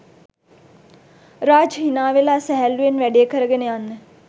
රාජ් හිනාවෙලා සැහැල්ලුවෙන් වැඩේ කරගෙන යන්න